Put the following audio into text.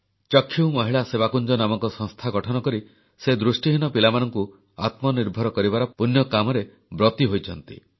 ଚକ୍ଷୁ ମହିଳା ସେବାକୁଞ୍ଜ ନାମକ ସଂସ୍ଥା ଗଠନ କରି ସେ ଦୃଷ୍ଟିହୀନ ପିଲାମାନଙ୍କୁ ଆତ୍ମନିର୍ଭର କରିବାର ପୂଣ୍ୟ କାମରେ ବ୍ରତୀ ହୋଇଛନ୍ତି